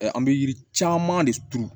An bɛ yiri caman de turu